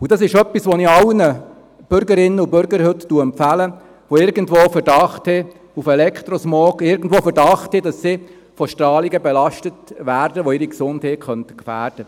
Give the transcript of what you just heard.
Und das ist etwas, das ich heute allen Bürgerinnen und Bürgern empfehle, die irgendwo einen Verdacht auf Elektrosmog haben, die irgendwo einen Verdacht haben, dass sie von Strahlungen belastet werden, die ihre Gesundheit gefährden könnten.